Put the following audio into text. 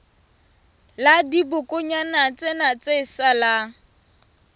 la dibokonyana tsena tse salang